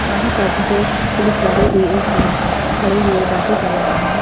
यहाँ पर दो पुलिस वाले भी एक साथ खड़े हुए बातें कर रहे हैं।